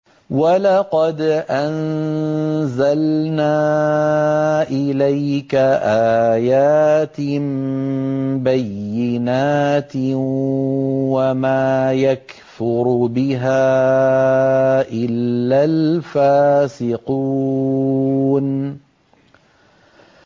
وَلَقَدْ أَنزَلْنَا إِلَيْكَ آيَاتٍ بَيِّنَاتٍ ۖ وَمَا يَكْفُرُ بِهَا إِلَّا الْفَاسِقُونَ